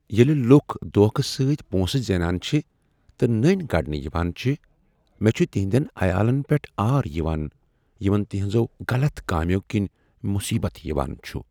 ییٚلہِ لُکھ دھوکہ سٕتۍ پۄنٛسہٕ زینان چِھ تہٕ نٔنۍ کڑنہٕ یوان چھ ، مےٚ چُھ تہنٛدٮ۪ن عیالن پیٹھ آر یوان یمن تہنٛزو غلط کامیو كِنۍ مصیبت یوان چُھ۔